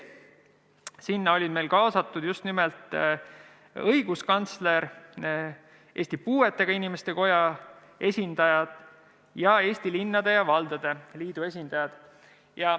Sinna oli meil kaasatud õiguskantsler, Eesti Puuetega Inimeste Koja esindaja ning Eesti Linnade ja Valdade Liidu esindajad.